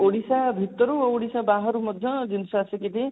ଓଡିଶା ଭିତରୁ ଆଉ ଓଡିଶା ବାହାରୁ ମଧ୍ୟ ଜିନିଷ ଆସିକି ବି